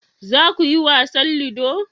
za ku yi wasan ludo?